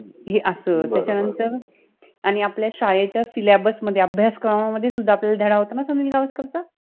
हे अस आणी त्याच्यानंतर शालेच्या सिलॅबस {syllabus} मधे अभ्यासक्रमामधे धडा होता न सुनिल गावस्करचा